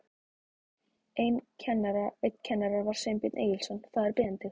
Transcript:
Einn kennara var Sveinbjörn Egilsson, faðir Benedikts.